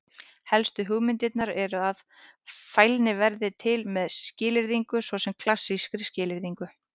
Helstu hugmyndirnar eru þó að: Fælni verði til með skilyrðingu, svo sem klassískri skilyrðingu.